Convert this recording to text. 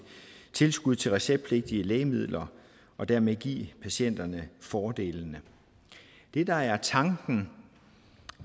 tilskud til receptpligtige lægemidler og dermed give patienterne fordelene det der er tanken